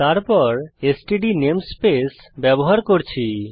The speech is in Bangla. তারপর আমরা এসটিডি নেমস্পেস ব্যবহার করছি